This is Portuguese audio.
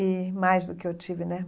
E mais do que eu tive né.